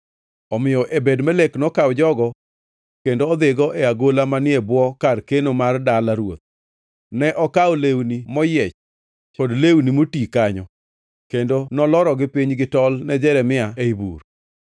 Omiyo Ebed-Melek nokawo jogo kendo odhigo e agola manie bwo kar keno mar dala ruoth. Ne okawo lewni moyiech kod lewni moti kanyo kendo nolorogi piny gi tol ne Jeremia ei bur.